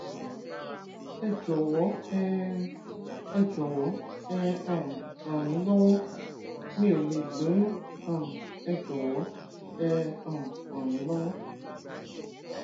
ẹ jọwọ ẹ ẹ jọwọ ẹ um ràn mí lọwọ mi ò lè lóyún um ẹ jọwọ ẹ um ràn mí lọwọ